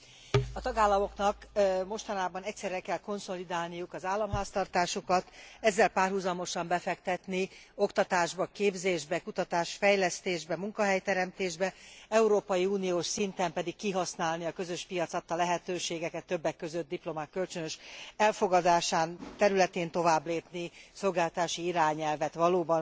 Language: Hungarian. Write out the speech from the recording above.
A tagállamoknak mostanában egyszerre kell konszolidálniuk az államháztartásukat, ezzel párhuzamosan befektetni oktatásba, képzésbe, kutatás fejlesztésbe, munkahelyteremtésbe, Európai Uniós szinten pedig kihasználni a közös piac adta lehetőségeket, többek között a diplomák kölcsönös elfogadásának területén továbblépni, a szolgáltatási irányelvet valóban